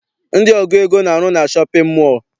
Ndị ọgụ ego na-arụ na shọpịn mọọ.